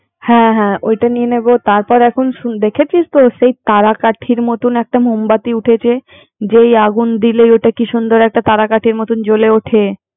হ্যা হ্যা ওটা নিয়ে নিবো তারপর এখন দেখেছিস তো তারা কাঠির মতন একটা মোম বাতি উঠেছেযেই আগুন দিলেই ওটা কি সুন্দর তারা কাঠির মত জ্বলে উঠে